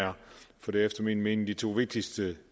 er for det er efter min mening de to vigtigste